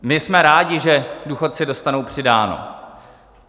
My jsme rádi, že důchodci dostanou přidáno.